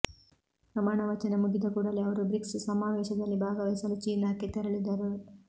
ಪ್ರಮಾಣ ವಚನ ಮುಗಿದ ಕೂಡಲೇ ಅವರು ಬ್ರಿಕ್ಸ್ ಸಮಾವೇಶದಲ್ಲಿ ಭಾಗವಹಿಸಲು ಚೀನಾಕ್ಕೆ ತೆರಳಿದರು